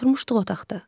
Oturmuşduq otaqda.